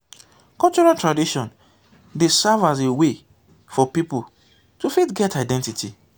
cultural tradition dey serve as a a wey for pipo to fit get identity